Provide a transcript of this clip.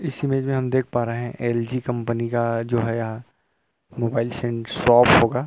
इसमें जो है हम देख पा रहे है एल_जी कंपनी का जो है यहाँ मोबाइल सें शॉप होगा --